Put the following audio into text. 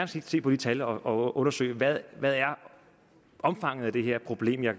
se på de tal og og undersøge hvad der er omfanget af det her problem jeg